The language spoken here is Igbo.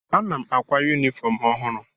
Ana m àkwá yunifọm ọhụrụ.